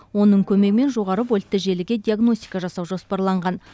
оның көмегімен жоғары вольтты желіге диагностика жасау жоспарланған